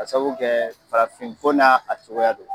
Ka sabu kɛ farafin ko n'a cogoya don.